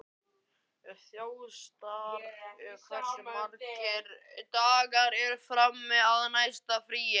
Þjóstar, hversu margir dagar fram að næsta fríi?